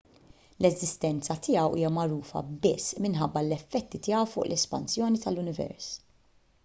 l-eżistenza tiegħu hija magħrufa biss minħabba l-effetti tiegħu fuq l-espansjoni tal-univers